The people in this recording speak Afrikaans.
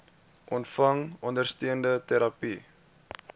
ontvang ondersteunende terapie